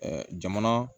jamana